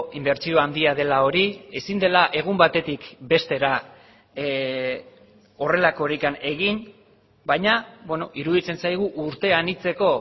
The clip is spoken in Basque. inbertsio handia dela hori ezin dela egun batetik bestera horrelakorik egin baina iruditzen zaigu urte anitzeko